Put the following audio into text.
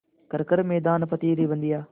कर हर मैदान फ़तेह रे बंदेया